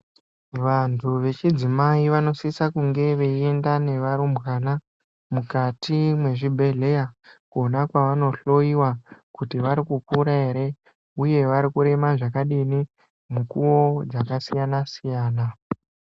Vantu vechidzimai vanosisa kunge veienda nearumbwana mukati mwezvibhedhleya, kwona kwaanohloiwa kuti vari kukura ere, uye vari kurema zvakadini, mukuwo dzakasiyana-siyana.